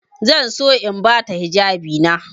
Zan so in ba ta hijabina.